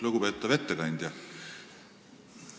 Lugupeetav ettekandja!